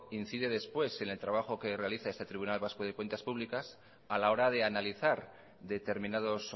incide después en el trabajo que realizar este tribunal vasco de cuentas públicas a la hora de analizar determinados